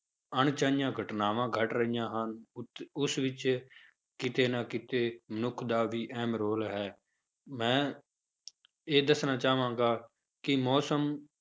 ਅਣਚਾਹੀਆਂ ਘਟਨਾਵਾਂ ਘਟ ਰਹੀਆਂ ਹਨ, ਉੱਥੇ ਉਸ ਵਿੱਚ ਕਿਤੇ ਨਾ ਕਿਤੇ ਮਨੁੱਖ ਦਾ ਵੀ ਅਹਿਮ ਰੌਲ ਹੈ ਮੈਂ ਇਹ ਦੱਸਣਾ ਚਾਹਾਂਗਾ ਕਿ ਮੌਸਮ